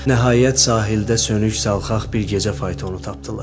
Nəhayət sahildə sönük, salxaq bir gecə faytonu tapdılar.